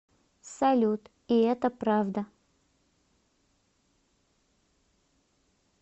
салют и это правда